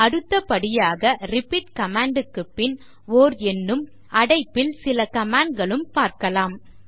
அடுத்தபடியாக repeat command க்குப் பின் ஓர் எண்ணும் அடைப்பில் சில commands ம் காணலாம்